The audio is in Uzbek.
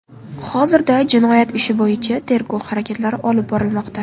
Hozirda jinoyat ishi bo‘yicha tergov harakatlari olib borilmoqda.